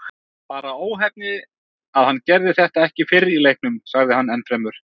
Bara óheppni að hann gerði þetta ekki fyrr í leiknum, sagði hann ennfremur.